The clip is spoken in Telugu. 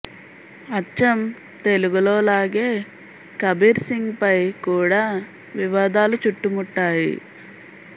అచ్చం తెలుగులో లాగే కబీర్ సింగ్ పై కూడా వివాదాలు చుట్టుముట్టాయి